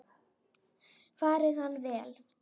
Fari hann vel.